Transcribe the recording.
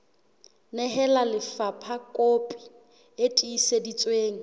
nehela lefapha kopi e tiiseditsweng